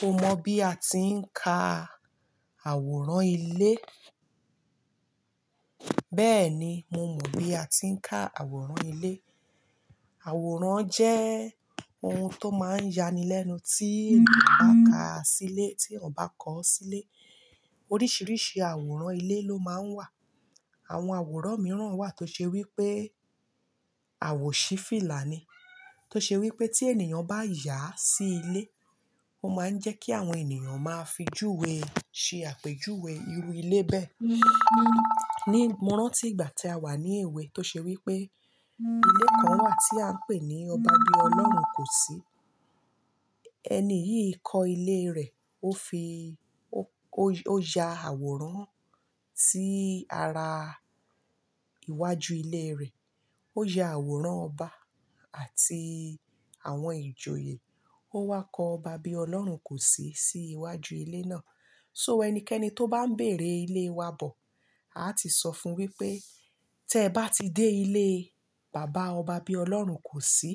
Mo mọ̀ bí a ti ń ka àwòrán ilé? Bẹ́ẹ̀ni, mo mọ̀ bí a ti ń ka àwòrán ilé. Àwòrán jẹ́ ohun tó máa ń yani lẹ́nu tí ènìyàn bá ka sí ilé tí ọ̀bá kọ́ sílé. Oríṣiríṣi àwòrán ilé ló máa ń wà. Àwọn àwòrán mìíràn wà tó ṣe wí pé àwòṣífìlà ni. Tó ṣe wí pé tí ènìyàn bá yà sí ilé, ó máa ń jẹ́ kí àwọn ènìyàn máa fi júwe ṣe àpèjúwe irú ilé bẹ́ẹ̀. Mọ́ rántí ìgbà tí a wà ní èwe tó ṣe wí pé ilé kan wà tí à ń pè ní "Ọba bí Ọlọ́run kò sí". Ẹni yìí kọ́ ilé rẹ̀, ó fi ó, ó ya àwòrán sí ara iwájú ilé rẹ̀. Ó ya àwòrán ọba àti àwọn ìjòyè. Ó wá kọ "Ọba bí Ọlọ́run kò sí" sí iwájú ilé náà. So ẹnikẹ́ni tó bá ń bèrè ilé wa bọ̀, a ti sọ fún wí pé "tẹ bá ti dé ilé Bàbá Ọba bí Ọlọ́run kò sí,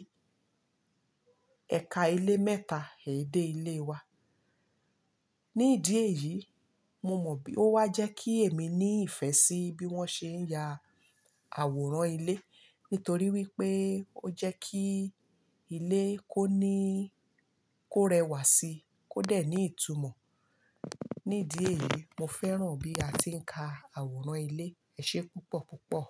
ẹ̀ka ilé mẹ́ta, è dé ilé wa". Ní ìdí èyí, mo mọ̀ bí, ó wá jẹ́ kí èmi ní ìfẹ́ sí bí wọ́n ṣe ń ya àwòrán ilé. Nítorí wí pé ó jẹ́ kí ilé kó ní, kó rẹwà sí, kó dẹ̀ ní ìtumọ̀. Ní ìdí èyí, mo fẹ́ràn bí a ti ń ka àwòrán ilé. Ẹ ṣe púpọ̀ púpọ̀.